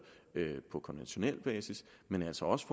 på konventionel basis men altså også